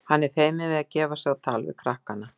Hann er feiminn við að gefa sig á tal við krakkana.